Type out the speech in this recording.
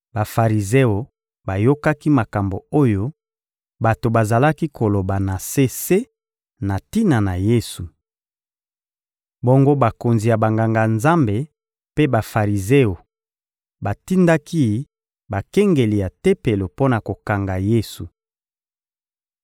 Bafarizeo bayokaki makambo oyo bato bazalaki koloba na se se na tina na Yesu. Bongo bakonzi ya Banganga-Nzambe mpe Bafarizeo batindaki bakengeli ya Tempelo mpo na kokanga Yesu.